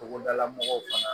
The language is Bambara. Togodala mɔgɔw fana